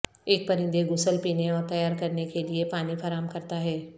ایک پرندے غسل پینے اور تیار کرنے کے لئے پانی فراہم کرتا ہے